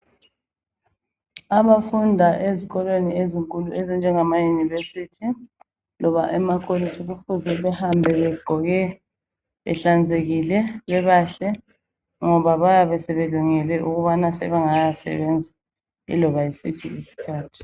Abafunda ezikolweni ezinkulu ezinjengama university loba emakolitshi kufuze behambe begqoke behlanzekile bebahle ngoba bayabe sebelungele ukubana sebengaya sebenza iloba yisiphi iskhathi .